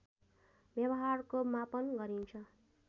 व्यवहारको मापन गरिन्छ